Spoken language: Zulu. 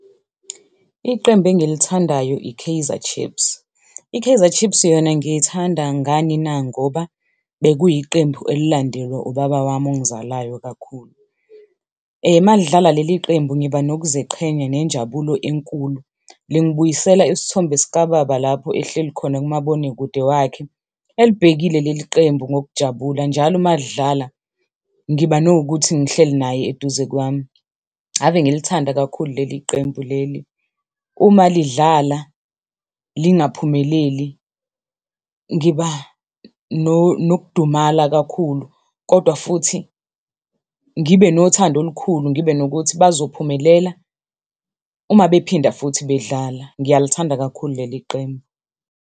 Iqembu engilithandayo i-Kaizer Chiefs. I-Kaizer Chiefs yona ngiyithanda ngani na, ngoba bekuyiqembu elilandelwa ubaba wami ongizalayo kakhulu. Uma lidlala leli qembu ngiba nokuziqhenya nenjabulo enkulu. Lingibuyisela isithombe sikababa lapho ehleli khona kumabonakude wakhe, elibhekile leli qembu ngokujabula njalo uma lidlala, ngiba nokuthi ngihleli naye eduze kwami. Ave ngilithanda kakhulu leli qembu leli. Uma lidlala lingaphumeleli ngiba nokudumala kakhulu, kodwa futhi ngibe nothando olukhulu, ngibe nokuthi bazophumelela uma bephinda futhi bedlala. Ngiyalithanda kakhulu leli qembu.